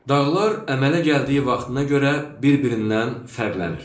Dağlar əmələ gəldiyi vaxtına görə bir-birindən fərqlənir.